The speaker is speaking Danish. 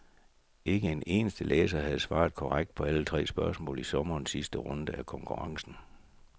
Ikke en eneste læser havde svaret korrekt på alle tre spørgsmål i sommerens sidste runde af konkurrencen.